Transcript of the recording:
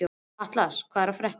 Atlas, hvað er að frétta?